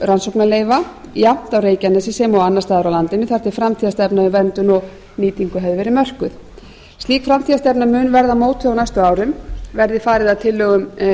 rannsóknarleyfa jafnt á reykjanesi sem og annars staðar á landinu þar til framtíðarstefna um verndun og nýtingu hefði verið mörkuð slík framtíðarstefna mun verða mótuð á næstu árum verði farið að tillögum